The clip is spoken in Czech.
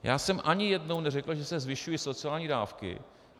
Já jsem ani jednou neřekl, že se zvyšují sociální dávky.